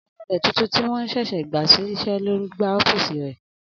Anulẹ̀ tuntun tí wọ́n sẹ̀sẹ̀ gbà ṣiṣẹ́ ló n gbálẹ̀ ọ́fìsì rẹ